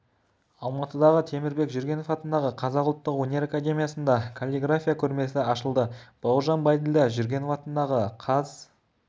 алматыдағы темірбек жүргенов атындағы қазақ ұлттық өнер академиясында каллиграфия көрмесі ашылды бауыржан байділда жүргенов атындағы қаз